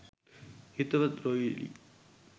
හිතවත් රොයිලි